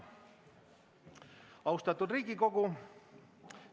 Austatud Riigikogu!